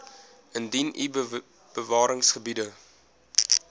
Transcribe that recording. indien u bewaringsgebiede